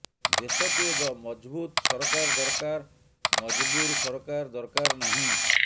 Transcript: ଦେଶକୁ ଏକ ମଜଭୁତ ସରକାର ଦରକାର ମଜବୁର ସରକାର ଦରକାର ନାହିଁ